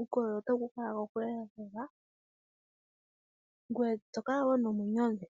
uukolele otawu ku kala ko kule lela, ngwe tokala wo nomwenyo omule.